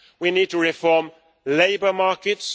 We need to reform labour markets.